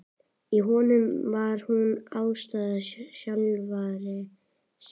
Í honum var hún andstæða sjálfrar sín.